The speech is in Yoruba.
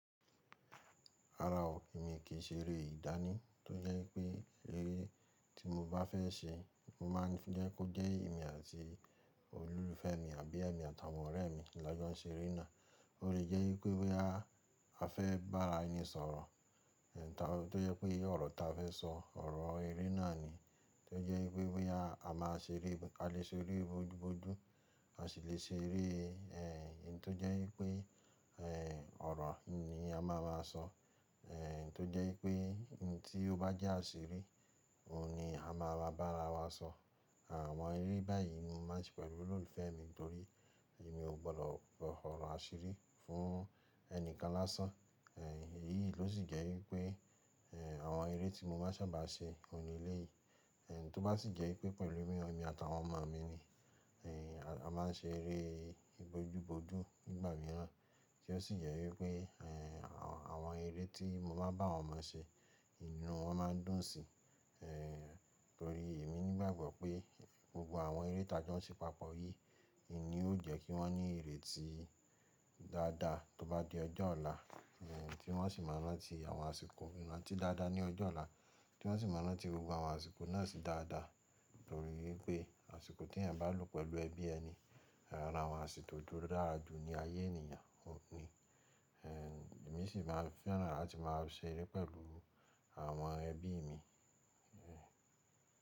Rárá o, èmi i kìí ṣe eré ìdáni, tó jẹ́ wipé eré tí mo bá fẹ́ ṣe, mo máa ń fi jẹ́ kó jẹ́ èmi àti olólùfẹ́ mi àbí èmi àtàwọn ọ̀rẹ́ mi la jo n ṣe eré náà. O lè jẹ́ wipé boya a fẹ́ bá ara ẹni sọ̀rọ̀, tó jẹ́ pé ọ̀rọ̀ ta fẹ́ sọ, ọ̀rọ̀ eré náà ni. Tó jẹ́ pé wípe boya a maa sere a lè ṣe eré bojú bojú, a sì lè ṣe eré ntó jẹ́ wipé ọ̀rọ̀ ni a máa má wa sọ. Tó jẹ́ wipé ohun tí ó bá jẹ́ àṣírí, òhun ni a máa bá ara wa sọ. Àwọn eré báyìí mo máa ń ṣe pẹ̀lú olólùfẹ́ mi torí èmi ò gbọdọ̀ sọ́ ọ̀rọ̀ àṣírí fún ẹnìkan lásán. Èyí ló sì jẹ́ wípé àwọn eré tí mo máa n sábà ṣe, òhun ni eléyìí. Tó bá sì jẹ́ pé pẹ̀lú mi emi àtawọn ọmọ mi ni, a máa ń ṣe eré bojú bojú nígbà mìíràn. Ti o sì jẹ́ wípé àwọn eré tí mo maá n bá àwọn ọmọ ṣe, inú wọn máa n dùn sí i. Torí èmi nígbàgbọ́ pé gbogbo àwọn eré tà jó n ṣe papọ̀ yìí in ni ó jẹ́ kí wọ́n ní ìrètí dáadáa tó bá di ọjọ́ ọ̀la, tí wọ́n sì máa rantí àwọn àsìkò irantí dáadáa ní ọjọ́ ọ̀la, tí wọ́n sì máa rantí gbogbo àwọn àsìkò náà sì dáadáa. Torí wipé àsìkò tí ẹ̀eyan bá lò pẹ̀lú ẹbí ẹni, ara àwọn àsìkò tó dára jù ní ayé ènìyàn ohun ni. Èmi sì máa fẹ́ràn láti máa ṣe eré pẹ̀lú àwọn ẹbí mi.